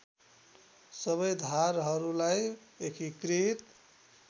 सबै धारहरूलाई एकीकृत